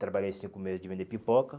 Trabalhei cinco meses de vender pipoca.